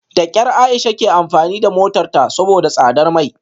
Da kyar Aisha ke amfani da motarta saboda tsadar mai